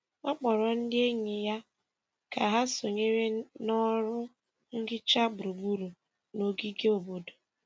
Ọ kpọrọ ndị enyi ya ka ha sonyere na ọrụ nhicha gburugburu n’ogige obodo.